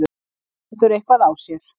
hann stendur eitthvað á sér.